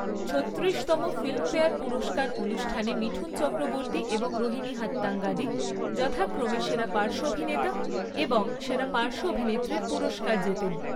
ছত্রিরিশতম Filmfare পুরস্কার অনুষ্ঠানে মিঠুন চক্রবর্তী এবং রোহিনী হাত্তাঙ্গাদি যথাক্রমে সেরা পার্শ্ব অভিনেতা এবং সেরা পার্শ্ব অভিনেত্রীর পুরস্কার জেতেন।